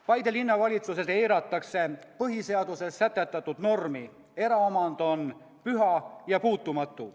Paide Linnavalitsuses eiratakse Põhiseaduses sätestatud normi: eraomand on püha ja puutumatu.